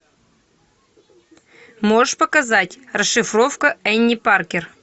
можешь показать расшифровка энни паркер